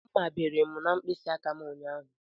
Mmá bere m n'mkpisi aka m ụnyaahụ.